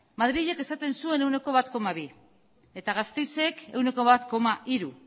madrilek esaten zuen ehuneko bat koma bi eta gasteizek ehuneko bat koma hiru